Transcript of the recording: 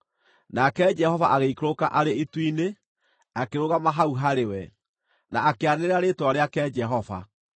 Nake Jehova agĩikũrũka arĩ itu-inĩ, akĩrũgama hau harĩ we, na akĩanĩrĩra rĩĩtwa rĩake, Jehova.